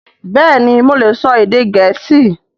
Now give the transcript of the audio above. Bẹ́ẹ̀ni mo lè sọ èdè Gẹ̀ẹ́sì